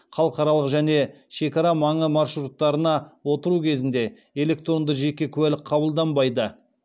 халықаралық және шекарамаңы маршруттарына отыру кезінде электронды жеке куәлік қабылданбайды